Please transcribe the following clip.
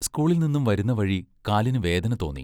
സ്കൂളിൽ നിന്നും വരുന്ന വഴി കാലിനു വേദന തോന്നി.